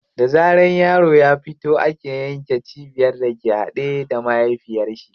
Da zaran yaro ya fito ake yanke cibiyar da ke haɗe da mahaifiyar shi.